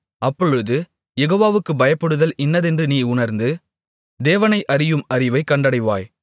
அப்பொழுது யெகோவாவுக்குப் பயப்படுதல் இன்னதென்று நீ உணர்ந்து தேவனை அறியும் அறிவைக் கண்டடைவாய்